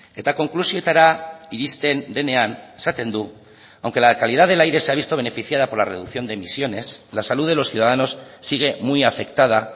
eta konklusioetara iristen denean esaten du aunque la calidad del aire se ha visto beneficiada por la reducción de emisiones la salud de los ciudadanos sigue muy afectada